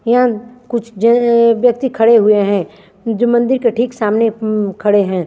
यह कुछ जल व्यक्ति खड़े हुए है जो मंदिर के ठीक सामने उम्म खड़े है।